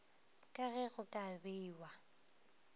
ka ge go ka bewa